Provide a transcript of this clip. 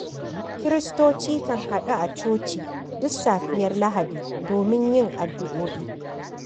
Kiristoci kan haɗu a coci duk safiyar Lahadi domin yin addu'o'i.